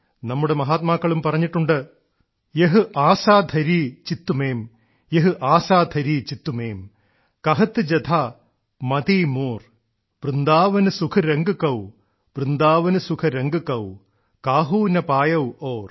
നമ്മുടെ മഹാത്മാക്കളും പറഞ്ഞിട്ടുണ്ട് യഹ് ആസാ ധരി ചിത്ത്മേം യഹ് ആസാ ധരി ചിത്ത്മേം കഹത്ത് ജഥാ മതിമോർ വൃന്ദാവൻ സുഖരംഗ് കൌ വൃന്ദാവൻ സുഖ് കാഹു ന പായതു ഔർ